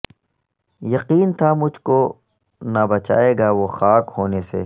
یقین تھا مجھ کونہ بچائے گا وہ خاک ہونے سے